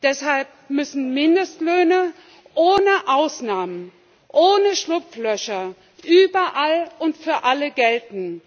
Deshalb müssen Mindestlöhne ohne Ausnahmen, ohne Schlupflöcher überall und für alle gelten.